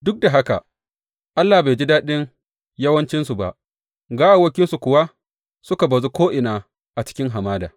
Duk da haka, Allah bai ji daɗin yawancinsu ba; gawawwakinsu kuwa suka bazu ko’ina a cikin hamada.